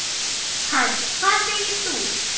Hödd: Hvað segir þú?